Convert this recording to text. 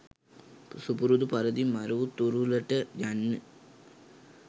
සුපුරුදු පරිදි මරු තුරුලට යන්න